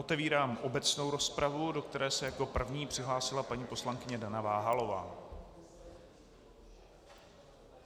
Otevírám obecnou rozpravu, do které se jako první přihlásila paní poslankyně Dana Váhalová.